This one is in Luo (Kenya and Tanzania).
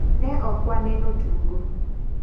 Ne ok waneno tugo.